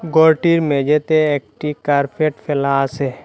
ঘরটির মেঝেতে একটি কার্পেট ফেলা আসে ।